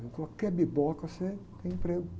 Em qualquer biboca você tem emprego.